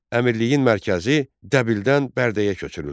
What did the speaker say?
Əmirliyin mərkəzi Dəbildən Bərdəyə köçürüldü.